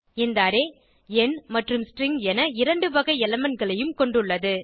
இந்த அரே எண் மற்றும் ஸ்ட்ரிங் இரண்டு வகை elementகளையும் கொண்டுள்ளது